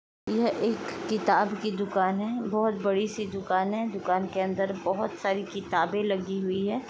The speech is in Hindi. यह एक किताब कि दुकान है। बहोत बड़ी सी दुकान है दुकान के अंदर बहुत सारी किताबे लगी हुई है।